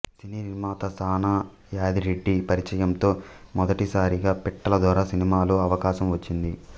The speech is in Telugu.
సినీ నిర్మాత సానా యాదిరెడ్డి పరిచయంతో మొదటి సారిగా పిట్టల దొర సినిమాలో అవకాశం వచ్చింది